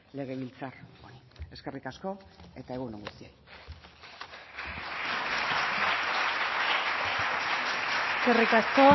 legebiltzar honi eskerrik asko eta egun on guztioi eskerrik asko